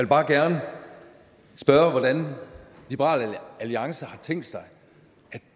bare gerne spørge hvordan liberal alliance har tænkt sig at